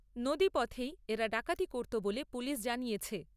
নদী পথেই এরা ডাকাতি করতো বলে পুলিশ জানিয়েছে।